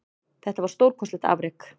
Þetta var stórkostlegt afrek